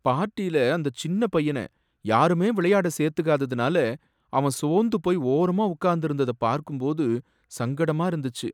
பார்ட்டியில அந்த சின்ன பையன யாருமே விளையாட சேர்த்துக்காததுனால அவன் சோர்ந்து போய் ஓரமா உக்காந்திருந்ததை பார்க்கும்போது சங்கடமா இருந்துச்சு.